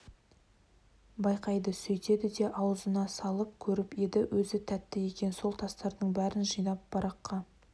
байқайды сөйтеді де ауызына салып көріп еді өзі тәтті екен ол тастардың бәрін жинап бараққа